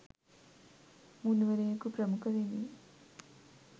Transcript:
මුනිවරයකු ප්‍රමුඛ වෙමින්